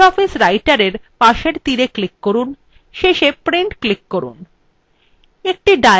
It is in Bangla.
libreoffice writerarrow পাশের তীরএ click করুন এবং শেষে print click করুন